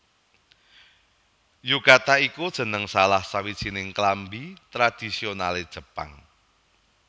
Yukata iku jeneng salah sawijining klambi tradhisionalé Jepang